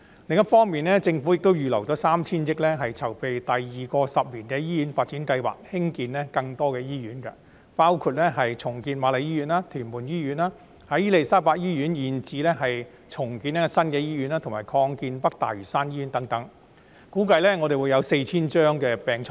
另一方面，政府已預留 3,000 億元籌備第二個十年醫院發展計劃，興建更多醫院，包括重建瑪麗醫院、屯門醫院，在伊利沙伯醫院現址興建新的醫院，以及擴建北大嶼山醫院等，估計將額外提供 4,000 張病床。